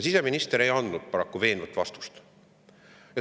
Siseminister ei andnud paraku veenvat vastust.